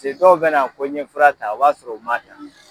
Se dɔw bena ko n ɲe fura ta o b'a sɔrɔ u ma ta